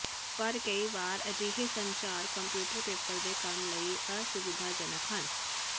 ਪਰ ਕਈ ਵਾਰ ਅਜਿਹੇ ਸੰਚਾਰ ਕੰਪਿਊਟਰ ਪੇਪਰ ਦੇ ਕੰਮ ਲਈ ਅਸੁਿਵਧਾਜਨਕ ਹਨ